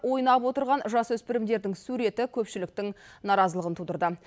ойнап отырған жасөспірімдердің суреті көпшіліктің наразылығын тудырды